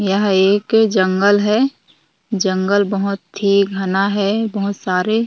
यह एक जंगल है जंगल बहुत ही घना है बहुत सारे--